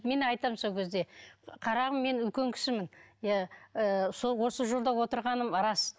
мен айтамын сол кезде қарағым мен үлкен кісімін иә ы сол осы жолда отырғаным рас